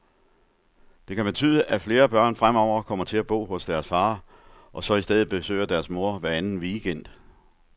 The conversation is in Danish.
Det kan betyde, at flere børn fremover kommer til at bo hos deres far, og så i stedet besøger deres mor hver anden weekend.